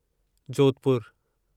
जोधपुरु